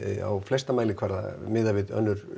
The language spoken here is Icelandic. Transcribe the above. á flesta mælikvarða miðað við önnur